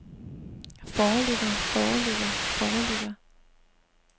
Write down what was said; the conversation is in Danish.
foreligger foreligger foreligger